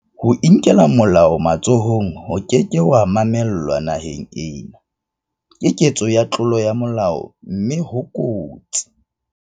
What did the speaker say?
Ho inkela molao matsohong ho ke ke ha mamellwa naheng ena, Ke ketso ya tlolo ya molao mme ho kotsi.